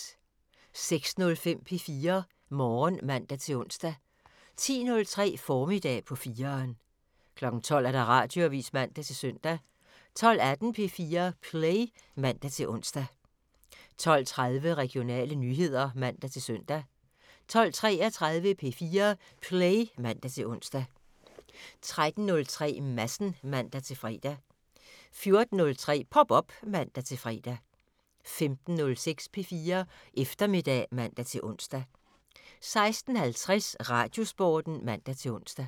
06:05: P4 Morgen (man-ons) 10:03: Formiddag på 4'eren 12:00: Radioavisen (man-søn) 12:18: P4 Play (man-ons) 12:30: Regionale nyheder (man-søn) 12:33: P4 Play (man-ons) 13:03: Madsen (man-fre) 14:03: Pop op (man-fre) 15:06: P4 Eftermiddag (man-ons) 16:50: Radiosporten (man-ons)